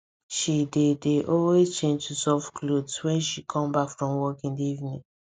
she dey dey always change to soft cloth when she come back from work in the evening